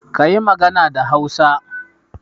Kayi magana da Hausa.